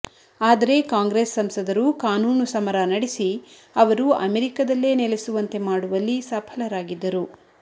ಆದರೆ ಕಾಂಗ್ರೆಸ್ ಸಂಸದರು ಕಾನೂನು ಸಮರ ನಡೆಸಿ ಅವರು ಅಮೆರಿಕದಲ್ಲೇ ನೆಲೆಸುವಂತೆ ಮಾಡುವಲ್ಲಿ ಸಫಲರಾಗಿದ್ದರು